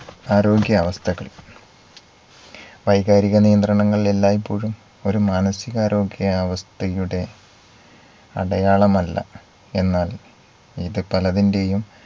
ആരോഗ്യാവസ്ഥകൾ വൈകാരിക നിയന്ത്രണങ്ങളിൽ എല്ലായ്‌പ്പോഴും ഒരു മാനസീകാരോഗ്യാവസ്ഥയുടെ അടയാളമല്ല. എന്നാൽ ഇത് പലതിന്റെയും